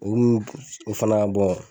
O fana bɔ